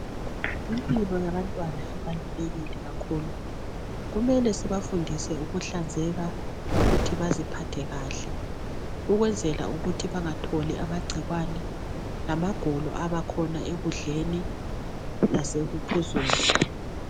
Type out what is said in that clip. Impilo yabantwana iqakathekile kakhulu, kumele sibafundise ukuhlanzeka lokuthi baziphathe kahle ukwenzela ukuthi bangatholi amagcikwane lamagulo abakhona ekudleni lasekuphuzweni.